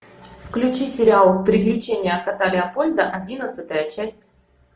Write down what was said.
включи сериал приключения кота леопольда одиннадцатая часть